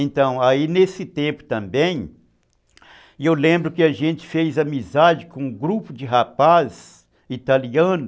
E nesse tempo também, eu lembro que a gente fez amizade com um grupo de rapaz italiano,